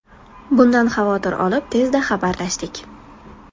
Bundan xavotir olib, tezda xabarlashdik.